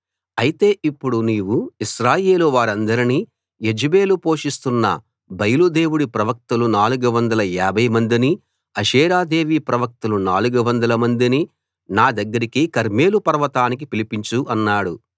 అయితే ఇప్పుడు నీవు ఇశ్రాయేలు వారందరినీ యెజెబెలు పోషిస్తున్న బయలు దేవుడి ప్రవక్తలు 450 మందినీ అషేరాదేవి ప్రవక్తలు 400 మందినీ నా దగ్గరికి కర్మెలు పర్వతానికి పిలిపించు అన్నాడు